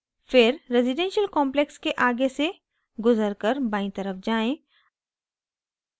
फिर residential complex के आगे से गुज़रकर बायीं तरफ जाएँ